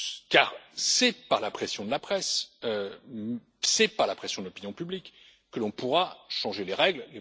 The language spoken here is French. Car c'est par la pression de la presse, c'est par la pression de l'opinion publique que l'on pourra changer les règles.